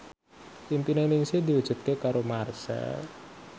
impine Ningsih diwujudke karo Marchell